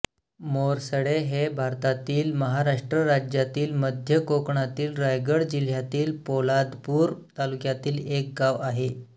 मोरसडे हे भारतातील महाराष्ट्र राज्यातील मध्य कोकणातील रायगड जिल्ह्यातील पोलादपूर तालुक्यातील एक गाव आहे